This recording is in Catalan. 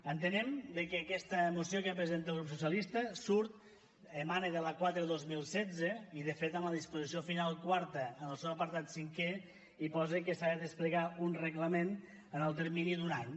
entenem que aquesta moció que presenta el grup socialista surt emana de la quatre dos mil setze i de fet en la disposició final quarta en el seu apartat cinquè hi posa que s’ha de desplegar un reglament en el termini d’un any